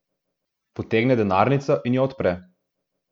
Potegne denarnico in jo odpre.